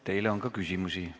Teile on ka küsimusi.